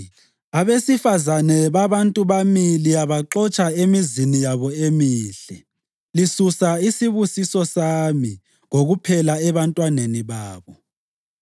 Abesifazane babantu bami liyabaxotsha emizini yabo emihle. Lisusa isibusiso sami kokuphela ebantwaneni babo.